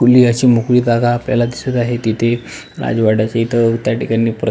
खुली अशी मोकळी जागा आपल्याला दिसत आहे तिथे राजवड्याच्या इथं त्या ठिकाणी प्रत्ये--